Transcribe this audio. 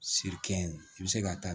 Se kɛ ye i bɛ se ka taa